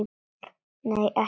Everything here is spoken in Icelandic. Nei, ekki neitt.